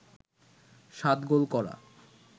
৭ goal করা